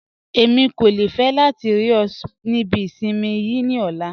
Ẹ̀mi kò fẹ́ látì rí ọ̀ ní ìbí ìṣinmí yii ní ọ̀lá